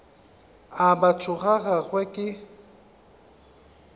a batho ga gagwe ke